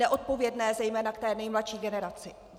Neodpovědné zejména k té nejmladší generaci.